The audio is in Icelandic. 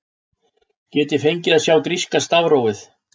get ég fengið að sjá gríska stafrófið